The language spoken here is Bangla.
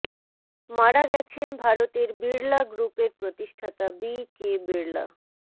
মারা গেছেন ভারতের বিড়লা গ্রুপের প্রতিষ্ঠাতা বি কে বিড়লা